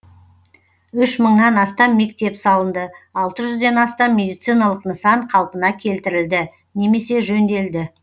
үш мыңнан астам мектеп салынды алты жүзден астам медициналық нысан қалпына келтірілді немесе жөнделді